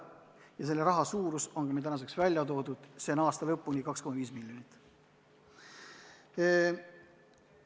Asjaomase summa suurus on meile tänaseks välja toodud, see on aasta lõpuni 2,5 miljonit eurot.